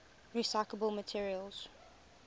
recyclable materials